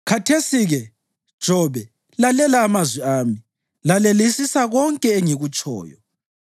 “Khathesi-ke, Jobe, lalela amazwi ami; lalelisisa konke engikutshoyo.